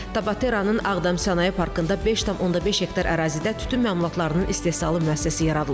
Tabateranın Ağdam sənaye parkında 5,5 hektar ərazidə tütün məmulatlarının istehsalı müəssisəsi yaradılıb.